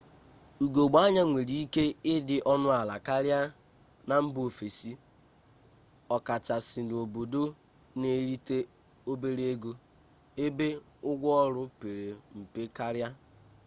ugogbe anya nwere ike ịdị ọnụala karịa na mba ofesi ọkachasị n'obodo na-erite obere ego ebe ụgwọ ọrụ pere mpe karịa